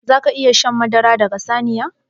Zaka iƴa shan madara daga saniya?